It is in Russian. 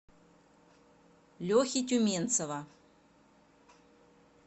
лехи тюменцева